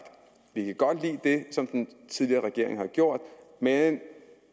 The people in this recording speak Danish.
vi kan godt lidt det som den tidligere regering har gjort men